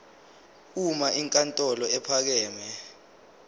uma inkantolo ephakeme